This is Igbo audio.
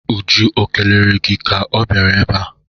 Uju o kelere gi ka ọ bịara ebe a?